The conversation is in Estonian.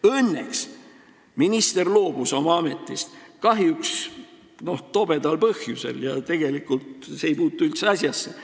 Õnneks minister loobus oma ametist, kahjuks küll tobedal põhjusel ja tegelikult see seisukoht ei puutu üldse asjasse.